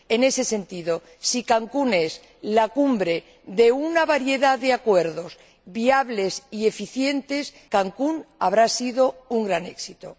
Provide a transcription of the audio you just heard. En ese sentido, si Cancún es la Cumbre de una variedad de acuerdos viables y eficientes, Cancún habrá sido un gran éxito.